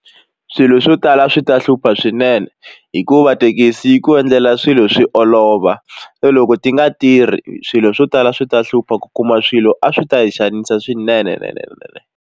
Swilo swo tala swi ta hlupha swinene hikuva thekisi yi ku endlela swilo swi olova so loko ti nga tirhi swilo swo tala swi ta hlupha ku kuma swilo a swi ta hi xanisa swinene .